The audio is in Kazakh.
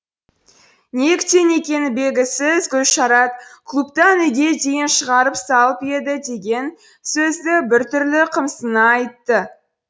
неліктен екені белгісіз гүлшарат клубтан үйге дейін шығарып салып еді деген сөзді бір түрлі қымсына айтты